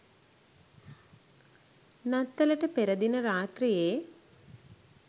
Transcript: නත්තලට පෙර දින රාත්‍රියේ